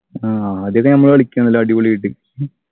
ആഹ് ആദ്യോക്കെ നമ്മള് കളിക്കും നല്ല അടിപൊളിയായിട്ട്